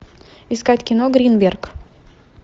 искать кино гринберг